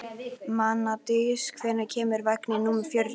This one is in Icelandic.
Mánadís, hvenær kemur vagn númer fjögur?